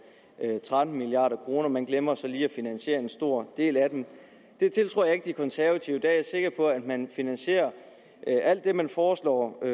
tretten milliard kroner man glemmer så lige at finansiere en stor del af dem det tiltror jeg ikke de konservative jeg er sikker på at man finansierer alt det man foreslår